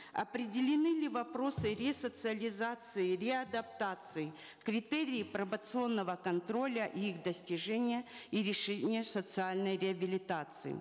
определены ли вопросы ресоциализации реадаптации критерии пробационного контроля и их достижения и решения социальной реабилитации